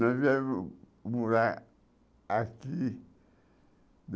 Nós viemos morar aqui.